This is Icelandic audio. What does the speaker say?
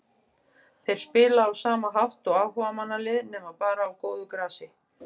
Þeir spila á sama hátt og áhugamannalið nema bara á góðu grasi.